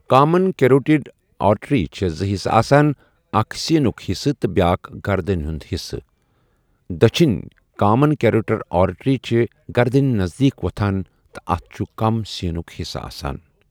Common carotid artery چھِ زٕ حِصہٕ آسان اَکھ سیٖنُک حِصہٕ تہٕ بیٛاکھ گَردَن ہُنٛد حِصہٕ دٔچھِنؠ کامَن کیروٹِڑ آرٹری چھِ گَردَن نَذدیٖکھ وَتھان تہٕ اَتھ چھُ کَم سیٖنُک حِصہٕ آسان.